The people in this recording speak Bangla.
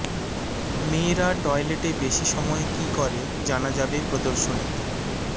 মেয়েরা টয়লেটে বেশি সময় কী করে জানা যাবে প্রদর্শনীতে